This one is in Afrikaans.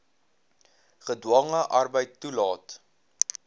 gedwonge arbeid toelaat